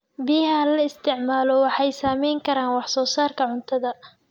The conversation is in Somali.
Biyaha la isticmaalo waxay saameyn karaan wax soo saarka cuntada.